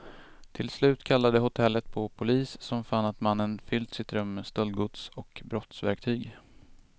Till slut kallade hotellet på polis, som fann att mannen fyllt sitt rum med stöldgods och brottsverktyg.